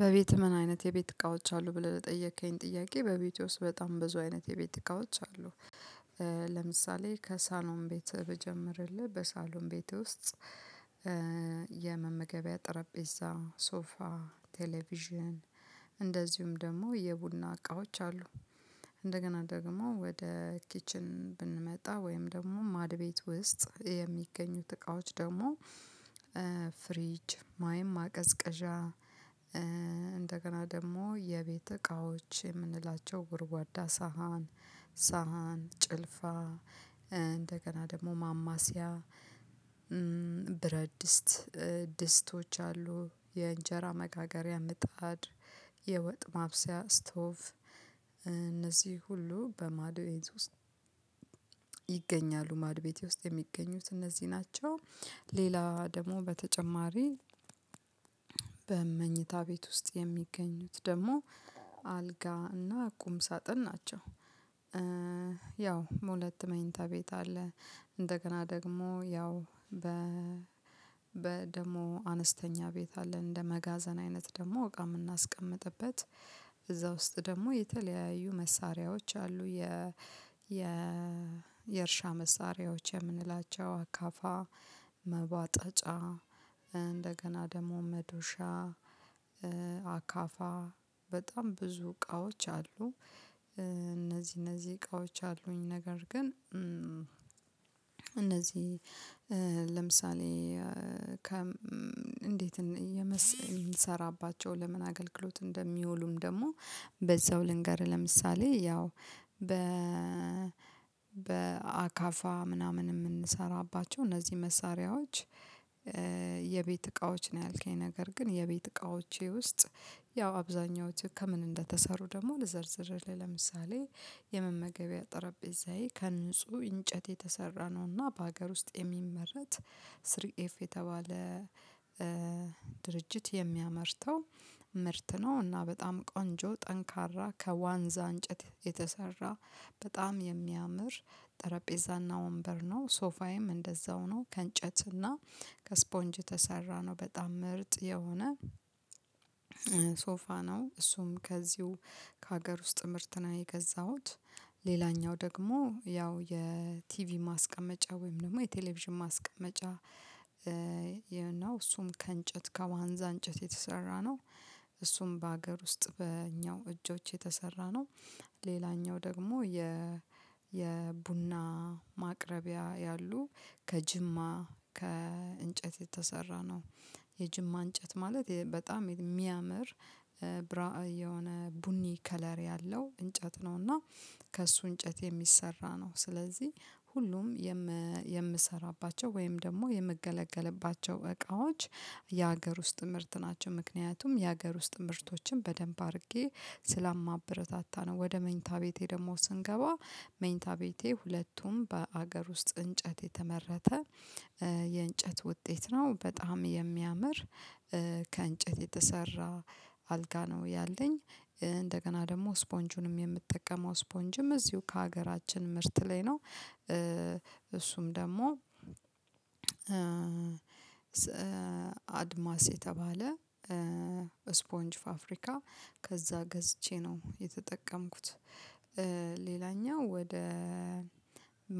በቤት ምን አይነት የቤት እቃዎች አሉ ብለህ ለጠየከኝ ጥያቄ በቤቴ ውስጥ በጣም ብዙ አይነት የቤት እቃዎች አሉ። ለምሳሌ ከሳሎን ቤት ብጀምርልህ በሳሎን ቤት ውስጥ ጠረጴዛ ሶፋ ቴሌቪዥን እንደዚሁም ደግሞ የቡና እቃዎች አሉ። እንደገና ደግሞ ወደ ኪችን ብንመጣ ወይም ደግሞ ማድ ቤት ውስጥ የሚገኙት እቃዎች ደግሞ ፍሪጅ ወይም ማቀዝቀዣ። እንደገና ደግሞ የቤት እቃዎች የምንላቸው ጎድጓዳ ሳህን ሳህን ጭልፋ እንደገና ደግሞ ማማሰያ ብረት ድስት ድስቶች አሉ የእንጀራ መጋገሪያ ምጣድ የወጥ ማብሰያ ስቶፍ እነዚህ ሁሉ በማድቤት ውስጥ ይገኛሉ ማድቤት ውስጥ የሚገኙት እነዚህ ናቸው። ሌላ ደግሞ በተጨማሪ በመኝታ ቤት ውስጥ የሚገኙት ደግሞ አልጋ እና ቁም ሳጥን ናቸው። ያው ሁለት መኝታ ቤት አለ እንደገና ደግሞ ያው በ ደግሞ አነስተኛ ቤት አለ እንደ መጋዘን አይነት ደግሞ እቃ የምናስቀምጥበት እዛ ውስጥ ደግሞ የተለያዩ መሳሪያዎች አሉ። የእርሻ መሳሪያዎች የምንላቸው አካፋ መቧጠጫ እንደገና ደግሞ መዶሻ አካፋ በጣም ብዙ እቃዎች አሉ። እነዚህ እነዚህ እቃዎች አሉኝ ነገር ግን እነዚህ ለምሳሌ ከ እንዴት የምሰራባቸው ለምን አገልግሎት እንደሚውሉም ደግሞ በዛው ልንገር። ለምሳሌ ያው በአካፋ ምናምን የምንሰራባቸው እነዚህ መሳሪያዎች። የቤት እቃዎች ነው ያልከኝ ነገር ግን የቤት እቃዎቼ ውስጥ ያው አብዛኛው ከምን እንደተሰሩ ደግሞ ለዘርዝር ለምሳሌ የመመገቢያ ጠረጴዛዬ ከንጹህ እንጨት የተሰራ ነውና በሀገር ውስጥ የሚመረት ስሪኤፍ የተባለ ድርጅት የሚያመርተው ምርት ነው። እና በጣም ቆንጆ ጠንካራ ከዋንዛ እንጨት የተሰራ በጣም የሚያምር ጠረጴዛና ወንበር ነው። ሶፋዬም እንደዛው ነው ከእንጨት እና ከስፖንጅ ተሰራ ነው በጣም ምርጥ የሆነ ነው። እሱም ከዚሁ ከሀገር ውስጥ ምርትና የገዛሁት። ሌላኛው ደግሞ ያው የቲቪ ማስቀመጫ ወይም ደግሞ የቴሌቪዥን ማስቀመጫ እና እሱም ከእንጨት ከዋንዛ እንጨት የተሰራ ነው። እሱም በአገር ውስጥ በእኛው እጆች የተሰራ ነው። ሌላኛው ደግሞ የቡና ማቅረቢያ ያሉ ከጅማ ከእንጨት የተሰራ ነው። የጅማ እንጨት ማለት በጣም የሚያምር ብራእ የሆነ ቡኒ ከለር ያለው እንጨት ነው። እና ከእሱ እንጨት የሚሰራ ስለዚህ ሁሉም የምሰራባቸው ወይም ደግሞ የምገለገልባቸው እቃዎች የሀገር ውስጥ ምርት ናቸው። ምክንያቱም የሀገር ውስጥ ምርቶችን በደንብ አድርጌ ስላማበረታታ ነው። ወደ መኝታ ቤቴ ደግሞ ስንገባ መኝታ ቤቴ ሁለቱም በአገር ውስጥ እንጨት የተመረተ የእንጨት ውጤት ነው። በጣም የሚያምር ከእንጨት የተሰራ አልጋ ነው ያለኝ እንደገና ደግሞ ስፖንጁንም የምጠቀመው ስፖንጅም እዚሁ ከሀገራችን ምርት ላይ ነው። እሱም ደግሞ አድማስ የተባለ ስፖንጅ ፋብሪካ ከዛ ገዝቼ ነው የተጠቀምኩት። ሌላኛው ወደ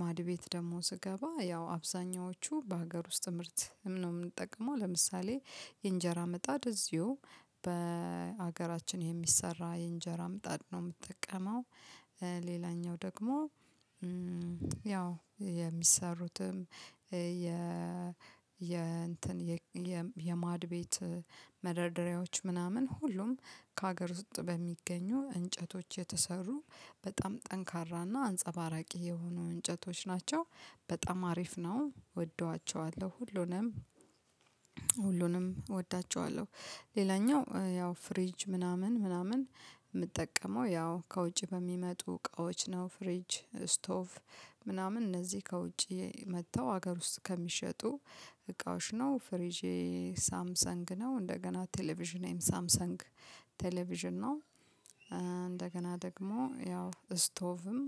ማድ ቤት ደግሞ ስገባ ያው አብዛኛዎቹ በሀገር ውስጥ ምርት ነው የምንጠቅመው ለምሳሌ የእንጀራ ምጣድ እዚሁ በሀገራችን የሚሰራ የእንጀራ ምጣድ ነው የምትጠቀመው። ሌላኛው ደግሞ ያው የሚሰሩትም የእንትን የማድቤት መደርደሪያዎች ምናምን ሁሉም ከሀገር ውስጥ በሚገኙ እንጨቶች የተሰሩ በጣም ጠንካራና አንጸባራቂ የሆኑ እንጨቶች ናቸው። በጣም አሪፍ ነው እወደዋቸዋለሁ ሁሉንም ሁሉንም እወዳቸዋለሁ። ሌላኛው ያው ፍሪጅ ምናምን ምናምን የምጠቀመው ያው ከውጪ በሚመጡ እቃዎች ነው። ፍሪጅ ስቶፍ ምናምን እነዚህ ከውጪ መጥተው ሀገር ውስጥ ከሚሸጡ እቃዎች ነው። ፍሪጄ ሳምሰንግ ነው እንደገና ቴሌቪዥኔም ሳምሰንግ ቴሌቪዥን ነው። እንደገና ደግሞ ያው ስቶቭም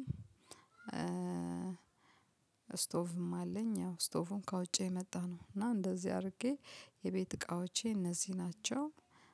ስቶቭም አለኝ ያው ስቶቭም ካውጬ የመጣነው እና እንደዚህ አድርጌ የቤት እቃዎቼ እነዚህ ናቸው።